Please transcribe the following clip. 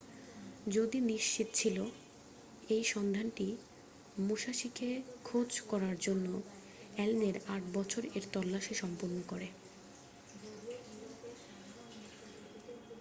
যদি নিশ্চিৎ ছিল এই সন্ধানটি মুশাসিকে খোঁজ করার জন্য অ্যালেনের আট বছর এর তল্লাসি সম্পূর্ণ করে